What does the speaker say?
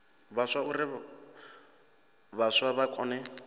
vhaswa uri vhaswa vha kone